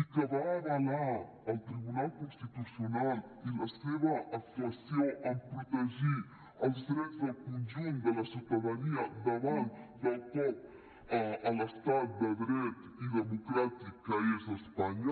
i que va avalar el tribunal constitucional i la seva actuació en protegir els drets del conjunt de la ciutadania davant del cop a l’estat de dret i democràtic que és espanya